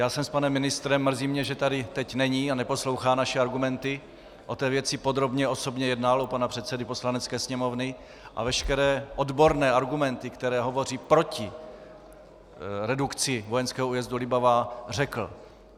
Já jsem s panem ministrem - mrzí mě, že tady teď není a neposlouchá naše argumenty - o té věci podrobně osobně jednal u pana předsedy Poslanecké sněmovny a veškeré odborné argumenty, které hovoří proti redukci vojenského újezdu Libavá, řekl.